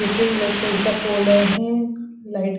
इथे इलेक्ट्रि चा पोल आहे लाईट --